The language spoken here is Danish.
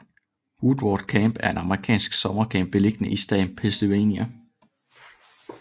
Woodward Camp er en amerikansk summercamp beliggende i staten Pennsylvania